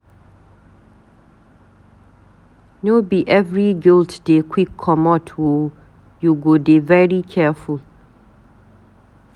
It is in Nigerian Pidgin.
No be every guilt dey quick comot o, you go dey very careful.